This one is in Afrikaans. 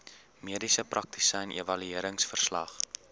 mediese praktisyn evalueringsverslag